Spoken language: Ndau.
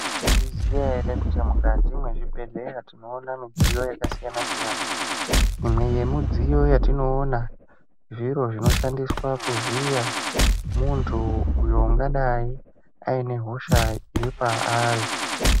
Maizviziya ere kuti mukati mwezvibhedhleya tinoona midziyo yakasiyana-siyana? Imwe yemudziyo yatinoona zviro zvinoshandiswa kuvhiya muntu uyo ungadai aine hosha iri paari.